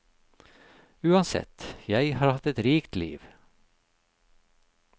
Uansett, jeg har hatt et rikt liv.